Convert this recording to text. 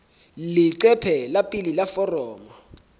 leqephe la pele la foromo